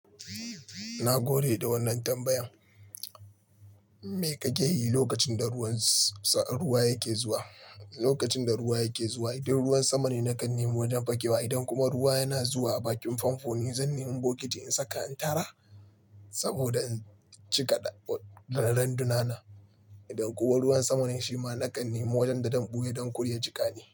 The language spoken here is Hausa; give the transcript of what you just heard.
Na gode da wannan tambayan. Me kake yi lokacin da ruwa yake zuwa? Lokacin da ruwa yake zuwa, idan ruwan sama ne nakan nema wajen fakewa. Idan kuma ruwa yana zuwa a bakin famfo ne zan nema bokiti in saka in tara saboda in cika randuna na. Idan kuwa ruwan sama ne, shi ma nakan nema wajen da zan ɓuye don kuda ya jiƙa ni.